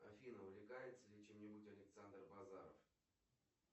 афина увлекается ли чем нибудь александр базаров